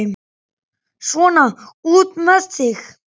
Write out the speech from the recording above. Svona, út með þig!